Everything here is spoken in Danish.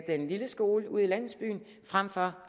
den lille skole ude i landsbyen frem for